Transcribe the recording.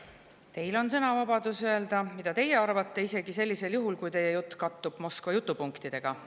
Teil on sõnavabadus öelda, mida teie arvate, isegi sellisel juhul, kui teie jutt kattub Moskva jutupunktidega.